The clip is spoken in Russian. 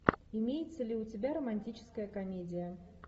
имеется ли у тебя романтическая комедия